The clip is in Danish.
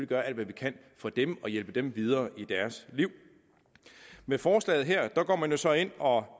gøre alt hvad vi kan for dem og hjælpe dem videre i deres liv med forslaget her går man jo så ind og